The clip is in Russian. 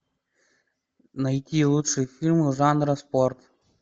найти лучшие фильмы жанра спорт